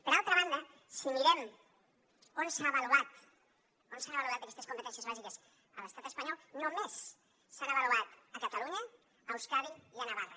per altra banda si mirem on s’han avaluat aquestes competències bàsiques a l’estat espanyol només s’han avaluat a catalunya a euskadi i a navarra